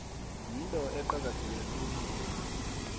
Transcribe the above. yinto eqakatheke khulu